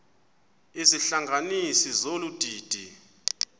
izihlanganisi zolu didi